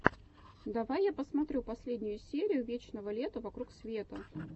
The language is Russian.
давай я посмотрю последнюю серию вечного лета вокруг света